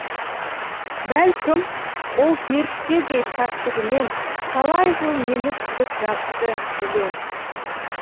бәлкім ол періштедей пәктігінен талай жыл мені күтіп жатты білем